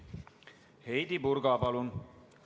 Heidy Purga, palun!